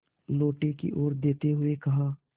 लोटे की ओर देखते हुए कहा